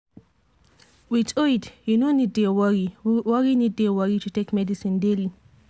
with iud you no need dey worry need dey worry to take medicine daily.